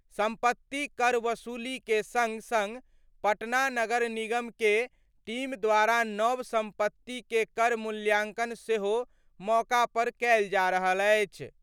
संपत्ति कर वसूली के संग-संग पटना नगर निगम के टीम द्वारा नव संपत्ति के कर मूल्यांकन सेहो मौका पर कैल जा रहल अछि।